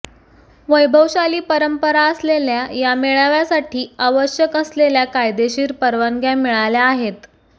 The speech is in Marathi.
वैभवशाली परंपरा असलेल्या या मेळाव्यासाठी आवश्यक असलेल्या कायदेशीर परवानग्या मिळाल्या आहेत